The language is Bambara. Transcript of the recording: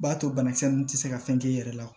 B'a to banakisɛ nun tɛ se ka fɛn k'i yɛrɛ la